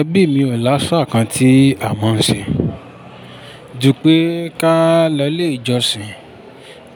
Ẹbí mi ò láṣà kan tí a mọ̀ ń ṣe. Ju pẹ́ ká lọlé ìjọsìn,